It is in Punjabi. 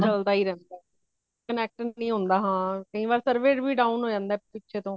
ਚਲਦਾ ਹੀ ਰਹਿੰਦਾ ਇਹ connect ਨਹੀਂ ਹੋਂਦਾ ਹਾਂ , ਕਯੀ ਵਾਰ server ਵੀ down ਹੋ ਜਾਂਦਾ ਵੇ ਪਿੱਛੇ ਤੋਹ